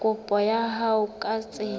kopo ya hao ka tsela